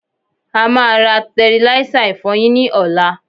a máa ra tẹriláísà ìfọyín ní ọ̀la.